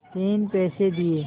तीन पैसे दिए